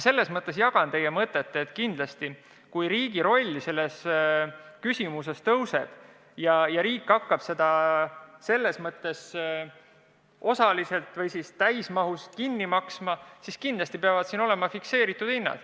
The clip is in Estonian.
Aga ma jagan teie mõtet, et kui riigi roll selles valdkonnas kasvab ja riik hakkab seda teenust osaliselt või täismahus kinni maksma, siis kindlasti peavad olema fikseeritud hinnad.